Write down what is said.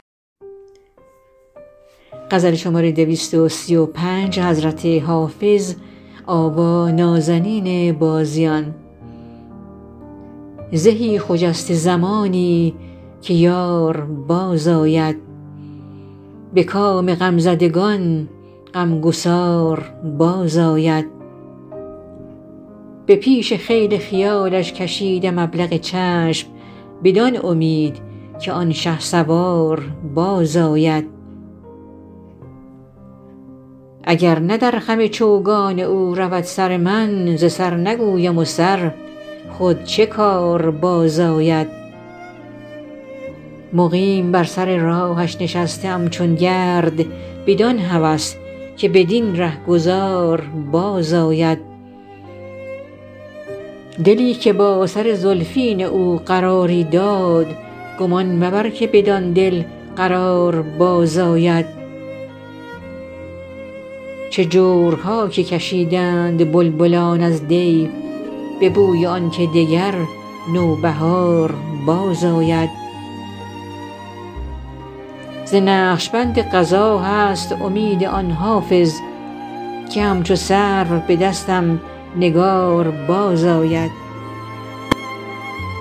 زهی خجسته زمانی که یار بازآید به کام غمزدگان غمگسار بازآید به پیش خیل خیالش کشیدم ابلق چشم بدان امید که آن شهسوار بازآید اگر نه در خم چوگان او رود سر من ز سر نگویم و سر خود چه کار بازآید مقیم بر سر راهش نشسته ام چون گرد بدان هوس که بدین رهگذار بازآید دلی که با سر زلفین او قراری داد گمان مبر که بدان دل قرار بازآید چه جورها که کشیدند بلبلان از دی به بوی آن که دگر نوبهار بازآید ز نقش بند قضا هست امید آن حافظ که همچو سرو به دستم نگار بازآید